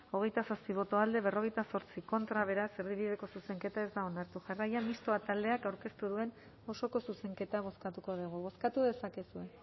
hogeita zazpi boto alde cuarenta y ocho contra beraz erdibideko zuzenketa ez da onartu jarraian mistoa taldeak aurkeztu duen osoko zuzenketa bozkatuko dugu bozkatu dezakegu